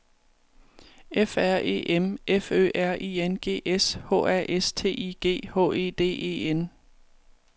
F R E M F Ø R I N G S H A S T I G H E D E N